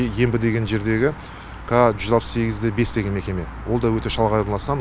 ембі деген жердегі ка жүз алпыс сегіз де бес деген мекеме ол да өте шалғай орналасқан